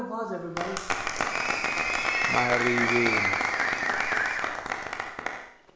mariveni